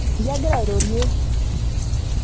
iyie agira airorie